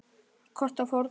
Það kostar fórnir.